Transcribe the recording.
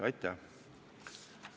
Aitäh!